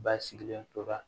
Ba sigilen tora